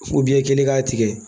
i kelen k'a tigɛ